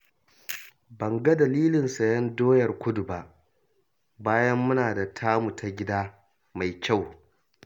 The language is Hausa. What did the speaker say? Ban ga dalilin sayen doyar kudu ba, bayan muna da tamu ta gida mai kyau